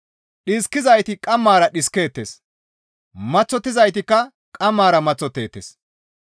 Dhiskizayti qammara dhiskeettes; maththottizaytikka qammara maththotteettes.